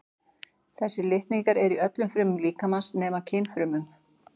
Þessir litningar eru í öllum frumum líkamans nema kynfrumunum.